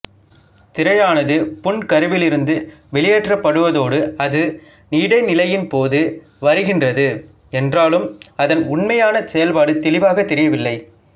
திரையானது புன்கருவிலிருந்து வெளியேற்றப்படுவதோடு அது இடைநிலையின்போது வருகின்றது என்றாலும் அதன் உண்மையான செயல்பாடு தெளிவாகத் தெரியவில்லை